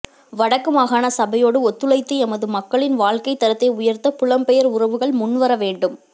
வடக்கு மாகாண சபையோடு ஒத்துழைத்து எமது மக்களின் வாழ்க்கைத் தரத்தை உயர்த்த புலம் பெயர் உறவுகள் முன்வரவேண்டும்